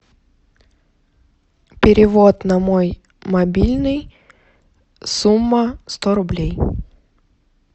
перевод на мой мобильный сумма сто рублей